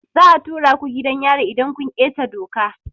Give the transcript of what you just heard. Za a tura ku gidan yari idan kun keta doka.